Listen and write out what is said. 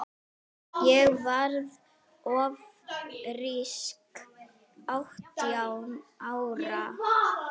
Ég varð ófrísk átján ára.